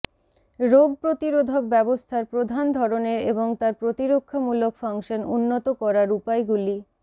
রোগ প্রতিরোধক ব্যবস্থার প্রধান ধরণের এবং তার প্রতিরক্ষামূলক ফাংশন উন্নত করার উপায়গুলি